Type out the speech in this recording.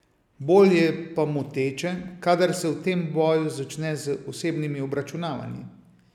Bolj je pa moteče, kadar se v tem boju začne z osebnimi obračunavanji.